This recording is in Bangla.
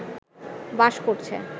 বাস করছে